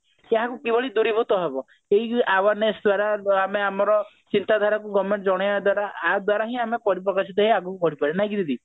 ସେଇୟାକୁ କିଭଳି ଦୂରୀଭୂତ ହେବ ଏଇ awareness ଦ୍ଵାରା ବା ଆମେ ଆମର ଚିନ୍ତା ଧାରାକୁ government କୁ ଜଣେଇବା ଦ୍ଵାରା ଆଦ୍ଵାରା ହିଁ ଆମେ ପରିପ୍ରକାଶିତ ହେଇ ଆଗକୁ ବଢି ପାରିବା ନା କି ଦିଦି